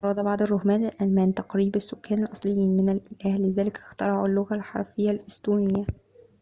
أراد بعض الرهبان الألمان تقريب السكان الأصليين من الأله لذلك اخترعوا اللغة الحرفية الإستونية